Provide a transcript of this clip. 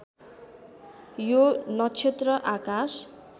यो नक्षत्र आकाश